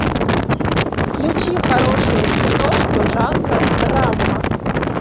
включи хорошую киношку жанра драма